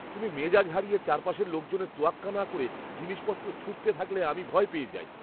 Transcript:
তুমি মেজাজ হারিয়ে চারপাশের লোকজনের তোয়াক্কা না করে জিনিসপত্র ছুঁড়তে থাকলে আমি ভয় পেয়ে যাই।